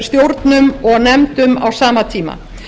stjórnum og nefndum á sama tíma